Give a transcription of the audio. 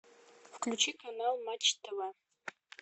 включи канал матч тв